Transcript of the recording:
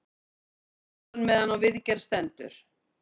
Reyklosun meðan á viðgerð stendur